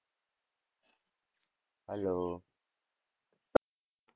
hello